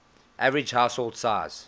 average household size